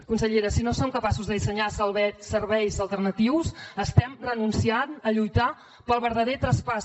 consellera si no som capaços de dissenyar serveis alternatius estem renunciant a lluitar pel verdader traspàs